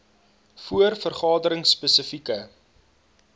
voor vergaderings spesifieke